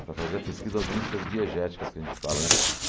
para fazer a pesquisa das músicas diegéticas que a gente fala, né?